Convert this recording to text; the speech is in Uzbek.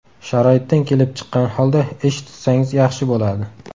Sharoitdan kelib chiqqan holda ish tutsangiz yaxshi bo‘ladi.